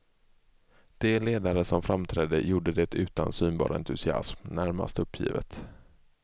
De ledare som framträdde gjorde det utan utan synbar entusiasm, närmast uppgivet.